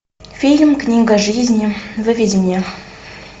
фильм книга жизни выведи мне